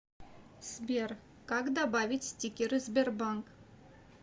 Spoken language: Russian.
сбер как добавить стикеры сбербанк